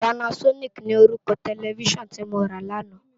Pànásònikí ni órúkò tèlèfisán ti mó rá làná